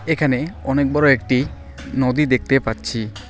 এখানে অনেক বড় একটি নদী দেখতে পাচ্ছি।